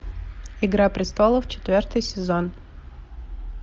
игра престолов четвертый сезон